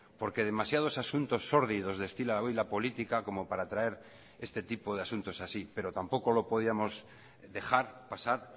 porque demasiados asuntos sórdidos destila hoy la política como para traer este tipo de asuntos así pero tampoco lo podíamos dejar pasar